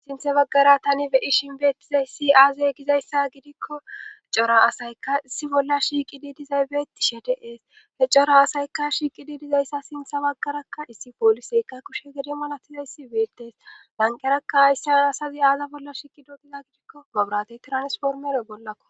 Sinthe baggara tani beyi shinbeettizay si aazey gizayssa gidikko cora asayka issi bolla shiiqidi dizaybeeti shedeees he cora asayka shiiqidi dizayssa sintha baggarakka issi pooliseyka kushe gede malatizayssi beetees lanqerakka hayssea asazi aaza bolla shiiqidogiza gidikko maburatey tiranspormere bollakko